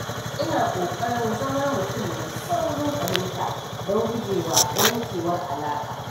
Ina ƙoƙarin zama mutum mai saurin fahimta don gujewa yankewar alaƙa